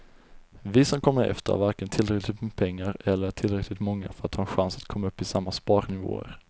Vi som kommer efter har varken tillräckligt med pengar eller är tillräckligt många för att ha en chans att komma upp i samma sparnivåer.